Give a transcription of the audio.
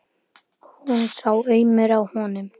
Hún sá aumur á honum.